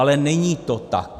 Ale není to tak.